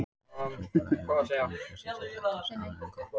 Súkkulaði hefur líka ýmislegt sér til ágætis annað en gott bragð.